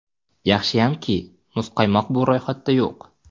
Yaxshiyamki, muzqaymoq bu ro‘yxatda yo‘q.